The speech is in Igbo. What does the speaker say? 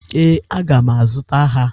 Ee, aga m azụta ha.